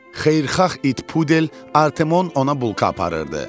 Xeyirxah it pudel Artemon ona bulka aparırdı.